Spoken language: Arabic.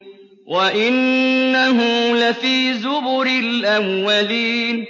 وَإِنَّهُ لَفِي زُبُرِ الْأَوَّلِينَ